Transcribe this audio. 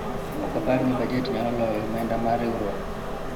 ok apar ni bajet nyalo loyo omenda mar riwruok